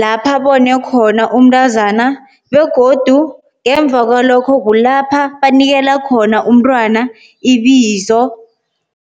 lapha bone khona umntazana begodu ngemva kwalokho kulapha banikela khona umntwana ibizo.